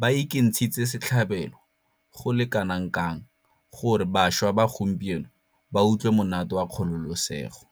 ba ikentshitse setlhabelo go le kanakang gore bašwa ba gompieno ba utlwe monate wa kgololesego.